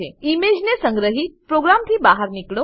ઈમેજને સંગ્રહીને પ્રોગ્રામથી બહાર નીકળો